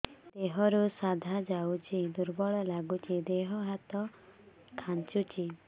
ଦେହରୁ ସାଧା ଯାଉଚି ଦୁର୍ବଳ ଲାଗୁଚି ଦେହ ହାତ ଖାନ୍ଚୁଚି